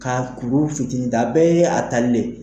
Ka kuru fitinin ta. A bɛɛ ye a tali de ye.